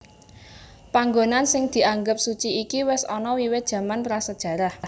Panggonan sing dianggep suci iki wis ana wiwit jaman prasajarah